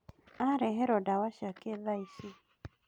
Areherwo ndawa ciake thaici